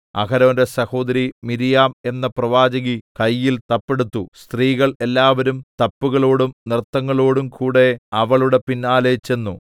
അഹരോന്റെ സഹോദരി മിര്യാം എന്ന പ്രവാചകി കയ്യിൽ തപ്പ് എടുത്തു സ്ത്രീകൾ എല്ലാവരും തപ്പുകളോടും നൃത്തങ്ങളോടും കൂടെ അവളുടെ പിന്നാലെ ചെന്നു